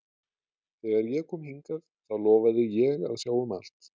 Þegar ég kom hingað þá lofaði ég að sjá um allt.